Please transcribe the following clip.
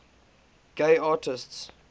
gay artists